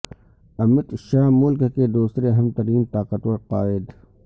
امیت شاہ ملک کے دوسرے اہم ترین طاقتور قائد